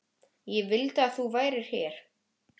Ég vildi að þú værir hér.